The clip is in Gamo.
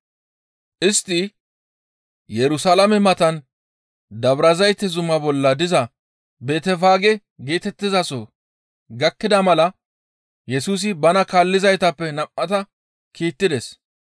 Istti Yerusalaame matan Dabrazayte zuma bolla diza Betefaage geetettizaso gakkida mala Yesusi bana kaallizaytappe nam7ata kiittides.